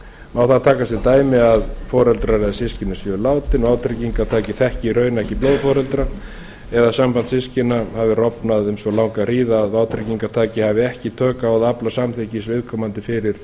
má þar taka sem dæmi að foreldrar eða systkini séu látin og vátryggingartaki þekki í raun ekki blóðforeldra eða samband systkina hafi rofnað um svo langa hríð að vátryggingartaki hafi ekki tök á að afla samþykkis viðkomandi fyrir